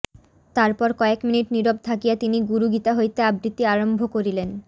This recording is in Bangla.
তারপর কয়েক মিনিট নীরব থাকিয়া তিনি গুরু গীতা হইতে আবৃত্তি আরম্ভ করিলেন